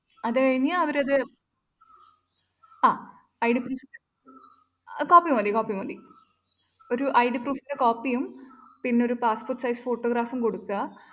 അതുകഴിഞ്ഞ് അവരത് ആഹ് id proof copy മതി copy മതി ഒരു id proof ന്റെ copy യും നിന്നൊരു passport size photo യും ഇപ്രാവശ്യം കൊടുക്കുക